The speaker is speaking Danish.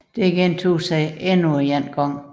Dette gentog sig endnu en gang